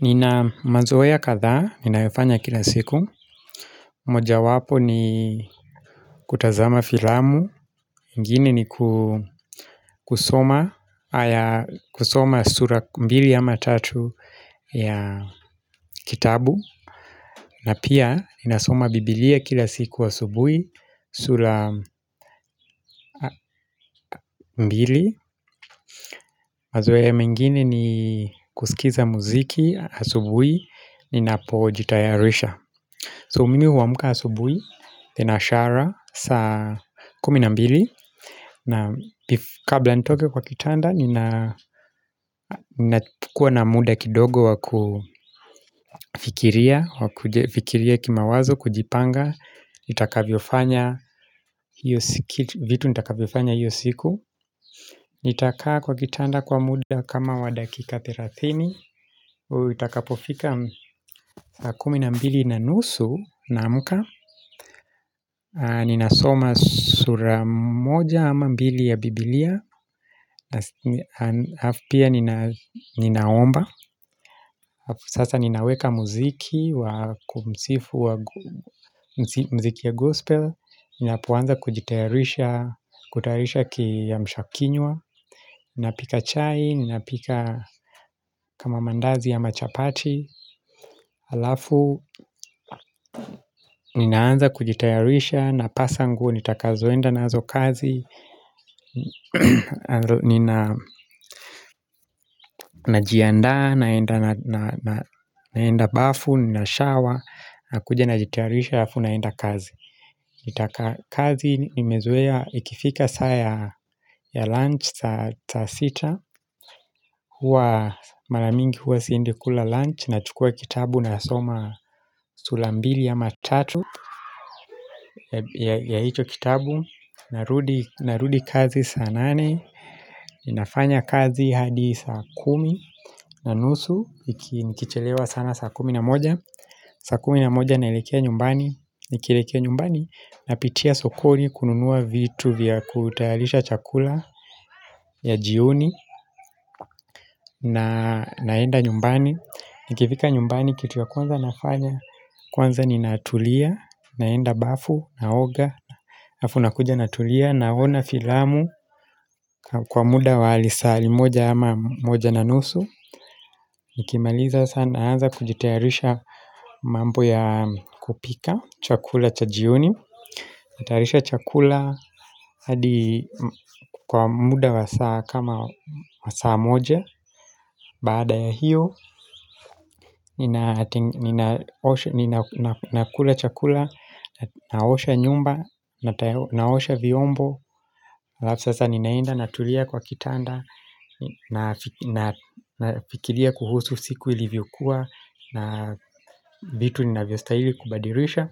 Nina mazoea kadhaa, ninayofanya kila siku Mojawapo ni kutazama filamu, ingine ni kusoma sura mbili ama tatu ya kitabu. Na pia, ninasoma bibilia kila siku asubuhi, sura mbili. Mazoea mengini ni kusikiza muziki asubuhi ninapojitayarisha. So mimi huamka asubuhi, thenashara, saa kumi na mbili. Na kabla nitoke kwa kitanda, ninakuwa na muda kidogo wakufikiria. Wakufikiria kimawazo, kujipanga, nitakavyofanya, vitu nitakavyofanya hiyo siku Nitakaa kwa kitanda kwa muda kama wa dakika thelathini Itakapofika saa kumi na mbili na nusu, naamka. Ninasoma sura moja ama mbili ya bibilia Alafu pia ninaomba. Alafu sasa ninaweka muziki wa kumsifu wa muziki ya gospel. Ninapoanza kujitayarisha, kutayarisha kiamsha kinywa Ninapika chai, ninapika kama mandazi ama chapati Alafu, ninaanza kujitayarisha, napasa nguo nitakazoenda nazo kazi Ninajiandaa, naenda bafu, ninashower. Nakuja najitayarisha halafu naenda kazi kazi nimezoea ikifika saa ya lunch saa sita, huwa mara mingi huwa siendi kula lunch. Nachukua kitabu nasoma sura mbili ama tatu ya hicho kitabu. Narudi Narudi kazi saa nane. Ninafanya kazi hadi saa kumi na nusu, nikichelewa sana saa kumi na moja. Saa kumi na moja naelekea nyumbani. Nikilekea nyumbani napitia sokoni kununua vitu vya kutayarisha chakula ya jioni naenda nyumbani. Nikifika nyumbani kitu ya kwanza nafanya, kwanza ninatulia, naenda bafu, naoga alafu nakuja natulia. Naona filamu kwa muda wa lisali moja ama moja na nusu Nikimaliza sasa naanza kujitayarisha mambo ya kupika chakula cha jioni Natayarisha chakula hadi kwa muda wa saa kama saa moja. Baada ya hiyo Ninakula chakula, naosha nyumba, naosha vyombo. Alafu sasa ninaenda natulia kwa kitanda Nafikiria kuhusu siku ilivyokuwa. Na vitu ninavyostaili kubadilisha.